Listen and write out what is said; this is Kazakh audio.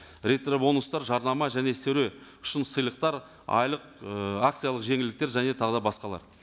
ретробонустар жарнама және шын сыйлықтар айлық ы акциялық жеңілдіктер және тағы да басқалар